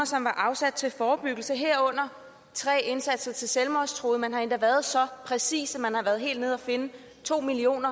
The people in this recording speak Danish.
som var afsat til forebyggelse herunder tre indsatser til selvmordstruede man har endda været så præcis at man har været helt nede og finde to million